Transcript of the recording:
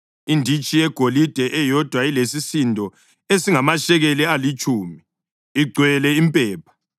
inditshi yegolide eyodwa elesisindo esingamashekeli alitshumi, igcwele impepha;